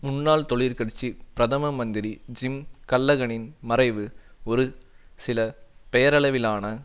முன்னாள் தொழிற்கட்சி பிரதம மந்திரி ஜிம் கல்லகனின் மறைவு ஒரு சில பெயரளவிலான